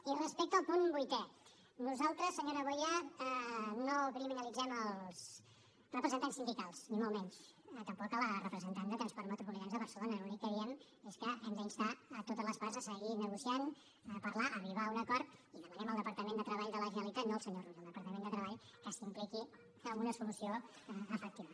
i respecte al punt vuitè nosaltres senyora boya no criminalitzem els representants sindicals ni molt menys tampoc la representant de transports metropolitans de barcelona l’únic que diem és que hem d’instar totes les parts a seguir negociant a parlar a arribar a un acord i demanem al departament de treball de la generalitat no al senyor rull al departament de treball que s’impliqui en una solució efectiva